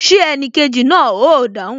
Ṣé enikeji náà o dáhùn?